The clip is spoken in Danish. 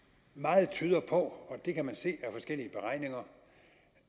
tyder meget på det kan man se